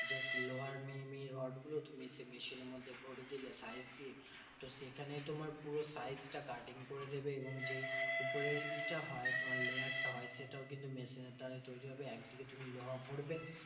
Just লোহার মিহি মিহি রোডগুলো তুমি machine এর মধ্যে ভোরে দিলে size দিয়ে। তো সেখানে তোমার পুরো size টা cutting করে দেবে এবং যে উপরের ইটা হয় তোমার layer টা হয়। সেটাও কিন্তু machine এর দ্বারাই তৈরী হবে। একদিকে তুমি লোহা ভরবে